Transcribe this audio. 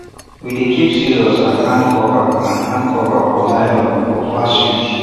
we dey keep scissors and hand cover and hand cover for nylon for fast use